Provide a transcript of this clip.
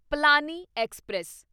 Palani express